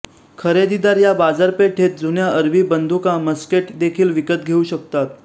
खरेदीदार या बाजारपेठेत जुन्या अरबी बंदूका मस्केट देखील विकत घेऊ शकतात